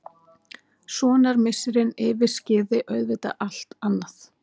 Sonarmissirinn yfirskyggði auðvitað allt annað.